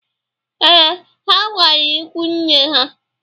Ee, ha gara ikwunne ha.